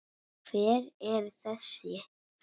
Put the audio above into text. Hver eru þessu nöfn?